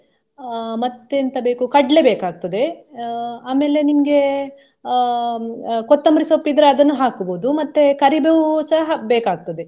ಅಹ್ ಮತ್ತೆಂತ ಬೇಕು ಕಡ್ಲೆ ಬೇಕಾಗ್ತದೆ ಅಹ್ ಆಮೇಲೆ ನಿಮ್ಗೆ ಅಹ್ ಅಹ್ ಕೊತ್ತಂಬ್ರಿ ಸೊಪ್ಪು ಇದ್ರೆ ಅದನ್ನ ಹಾಕ್ಬಹುದು ಮತ್ತೆ ಕರಿಬೇವು ಸಹ ಹಾಕ್ಬೇಕಾಗ್ತದೆ.